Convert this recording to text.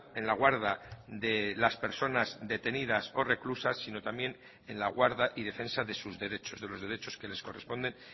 en la guarda de las personas detenidas o reclusas sino también en la guarda y defensa de sus derechos de los derechos que les corresponden